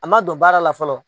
A man don baara la fɔlɔ.